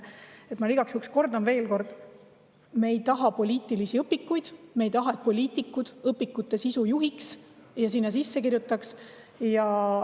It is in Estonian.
Ma igaks juhuks kordan veel, et me ei taha poliitilisi õpikuid, me ei taha, et poliitikud õpikute sisu juhiks ja sinna midagi sisse kirjutaks.